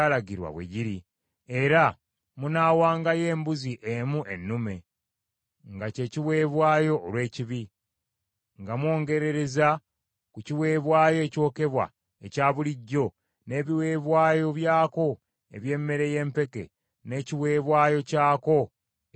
Era munaawangayo embuzi emu ennume, nga kye kiweebwayo olw’ekibi, nga mwongerereza ku kiweebwayo ekyokebwa ekya bulijjo n’ebiweebwayo byako eby’emmere y’empeke, n’ekiweebwayo kyako ekyokunywa.